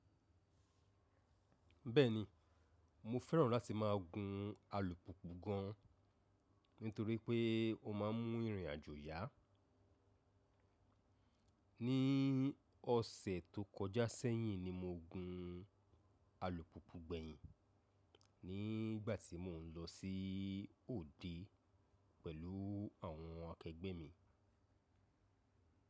Bẹ́ẹ̀ni, mo fẹ́ràn láti máa gun alùpùpù gan, nítorí pé ó má a mú ìrìn àjò yá. Ní ọ̀sẹ̀ tó kọjá sẹ́yìn ni mo gun alùpùpù gbẹ̀yìn, nígbàtí mo n lọ sí òde pẹ̀lú àwọn akẹgbẹ́ mi.